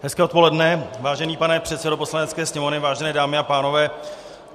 Hezké odpoledne, vážený pane předsedo Poslanecké sněmovny, vážené dámy a pánové.